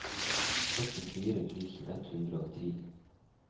førtifire tusen ett hundre og ti